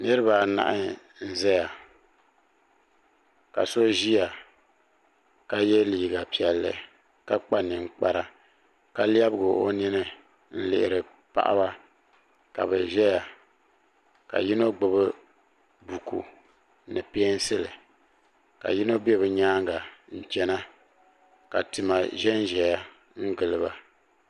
niraba anahi n ʒɛya ka so ʒiya ka yɛ liiga piɛlli ka kpa ninkpara ka lɛbigi o nini n lihiri paɣaba ka bi ʒɛya ka yino gbubi buku ni peensili ka yino bɛ bi nyaanga n chɛna ka tima ʒɛnʒɛya n giliba